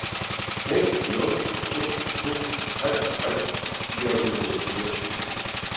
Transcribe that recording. fem nul to to treogtres fire hundrede og fireogtyve